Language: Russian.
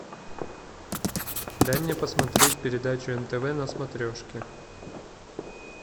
дай мне посмотреть передачу нтв на смотрешке